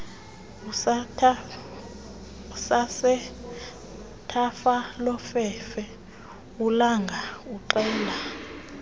sasethafalofefe ulanga uxela